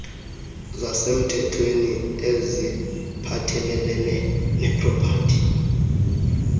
zasemthethweni eziphathelelene nepropati